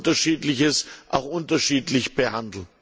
Man soll Unterschiedliches auch unterschiedlich behandeln.